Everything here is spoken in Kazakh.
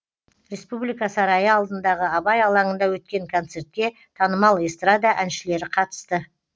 республика сарайы алдындағы абай алаңында өткен концертке танымал эстрада әншілері қатысты